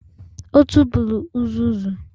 Ọ tụpụrụ uzuzu.